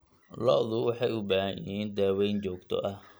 Lo'du waxay u baahan yihiin daaweyn joogto ah.